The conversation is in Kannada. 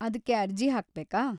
ಅದ್ಕೆ ಅರ್ಜಿ ಹಾಕ್ಬೇಕಾ?